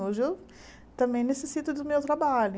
Hoje eu também necessito do meu trabalho.